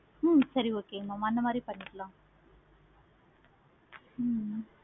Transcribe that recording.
ஓ சரி okay mam அந்த மாதிரி பண்ணிக்கலாம். ஹம்